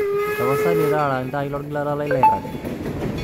tapasali taara iltaai lolgilata lai lairrag